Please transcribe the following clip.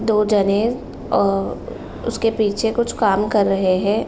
दो जने अ उसके पीछे कुछ काम कर रहे है।